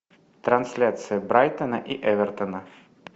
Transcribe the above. трансляция брайтона и эвертона